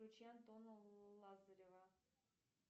включи антона лазарева